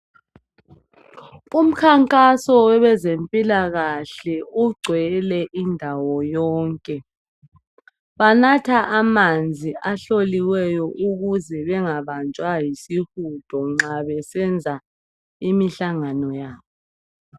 Umkhankaso wabezempilakahle ugcwele indawo yonke. Banatha amanzi ahloliweyo ukuze bengabanjwa yisihudo nxa besenza imihlangano yabo.